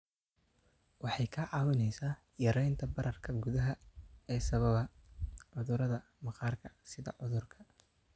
Waxay kaa caawinaysaa yaraynta bararka gudaha ee sababa cudurrada maqaarka sida cudurka